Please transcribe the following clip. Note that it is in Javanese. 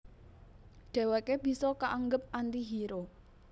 Dhèwèké bisa kaanggep anti hero